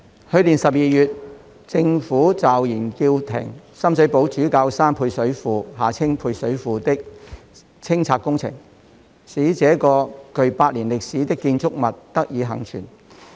去年12月，政府驟然叫停深水埗主教山配水庫的清拆工程，使這個具百年歷史的建築物得以倖存。